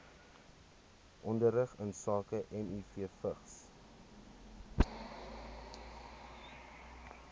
onderrig insake mivvigs